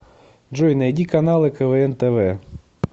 джой найди каналы квн тв